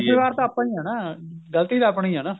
ਜਿੰਮੇਵਾਰ ਤਾਂ ਆਪਾਂ ਈ ਆ ਨਾ ਗਲਤੀ ਤਾਂ ਆਪਣੀ ਹੀ ਨਾ